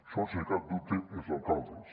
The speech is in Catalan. són sense cap dubte els alcaldes